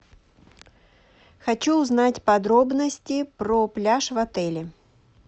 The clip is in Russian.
хочу узнать подробности про пляж в отеле